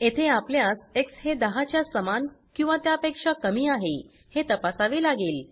येथे आपल्यास एक्स हे 10 च्या समान किंवा त्या पेक्षा कमी आहे हे तपासावे लागेल